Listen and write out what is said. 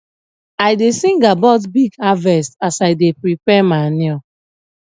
i da sing about big harvest as i da prepare manure